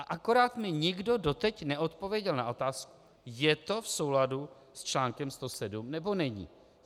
A akorát mi nikdo doteď neodpověděl na otázku: Je to v souladu s článkem 107, nebo není?